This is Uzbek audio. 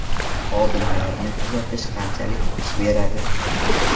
Xodimlarni kuzatish qanchalik ish beradi?